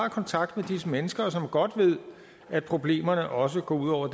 har kontakt med disse mennesker som godt ved at problemerne også går ud over